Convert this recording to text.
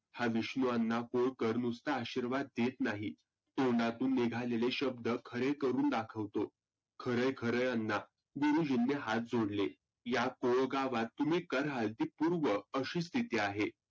हा विष्णु अण्णा कोळकर नुसता आशिर्वाद देत नाही. तोंडातून निघालेले शब्द खरे करुण दाखवतो. खरे खरे अण्णा गुरुजींनी हात जोडले. या कोळगावात तुम्ही कर हळदी पुर्व अशी स्थिती आहे.